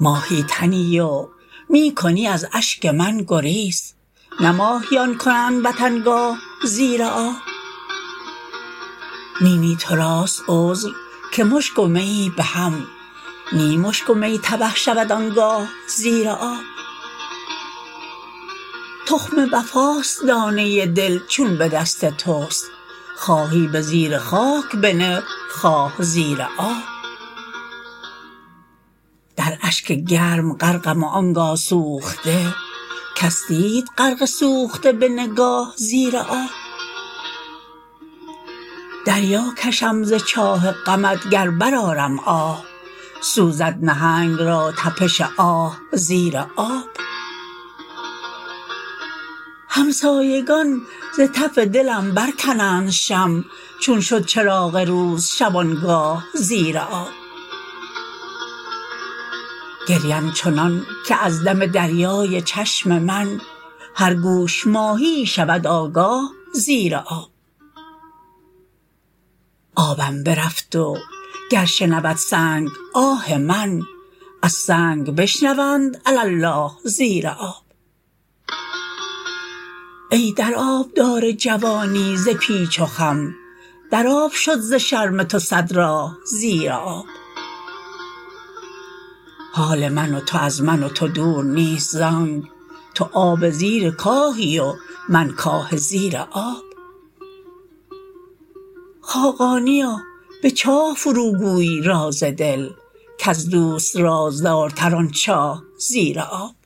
ماهی تنی و می کنی از اشک من گریز نه ماهیان کنند وطن گاه زیر آب نی نی توراست عذر که مشک و میی به هم نی مشک و می تبه شود آنگاه زیر آب تخم وفاست دانه دل چون به دست توست خواهی به زیر خاک بنه خواه زیر آب در اشک گرم غرقم و آنگاه سوخته کس دید غرق سوخته به نگاه زیر آب دریا کشم ز چاه غمت گر برآرم آه سوزد نهنگ را طپش آه زیر آب همسایگان ز تف دلم برکنند شمع چون شد چراغ روز شبانگاه زیر آب گریم چنان که از دم دریای چشم من هر گوش ماهیی شود آگاه زیر آب آبم برفت و گر شنود سنگ آه من از سنگ بشنوند علی الله زیر آب ای در آبدار جوانی ز پیچ و خم در آب شد ز شرم تو صد راه زیر آب حال من و تو از من و تو دور نیست زآنک تو آب زیر کاهی و من کاه زیر آب خاقانیا به چاه فرو گوی راز دل کز دوست رازدارتر آن چاه زیر آب